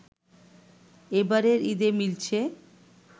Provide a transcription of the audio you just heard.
এবারের ঈদে মিলছে